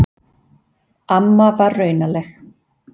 Amma var raunaleg.